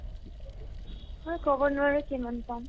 মই ক'ব নোৱাৰো কিমান পাম ?